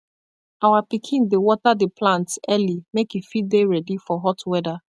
our pikin dey water the plants early make e fit dey ready for hot weather